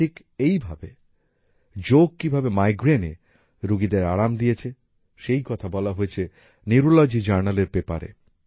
ঠিক এইভাবে যোগ কিভাবে মাইগ্রেনে রুগীদের আরাম দিয়েছে সেই কথা বলা হয়েছে নিউরোলজি জার্নাল এর পেপারে